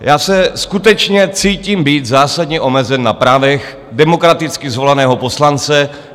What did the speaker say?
Já se skutečně cítím být zásadně omezen na právech demokraticky zvoleného poslance.